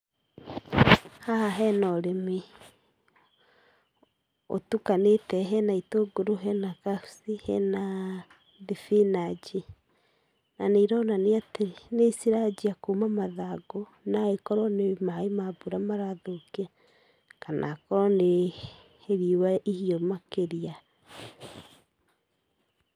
Haha hena ũrĩmi ũtukanĩte, hena itũngũrũ, hena kabici, hena thibinanji, na nĩironania atĩ, nĩciranjia kuma mathangũ naĩkorwo nĩ maĩ ma mbura marathũkia kana akorwo nĩ, riũa ihĩũ makĩria.